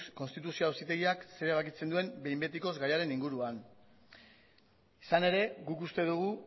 konstituzio auzitegiak zer erabakitzen duen behin betikoz gaiaren inguruan izan ere guk uste dugu